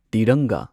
ꯇꯤꯔꯪꯒꯥ